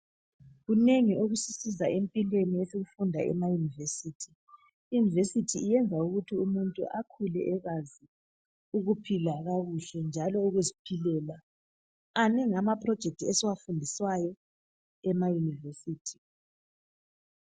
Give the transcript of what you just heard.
Kunengi okusisiza empilweni , esikufunda ema- university. Iuniversity yenza ukuthi umuntu akhule ekwazi ukuphila kakuhle njalo ukuziphilela. Manengi amaproject esiwafundiswayo ema-university.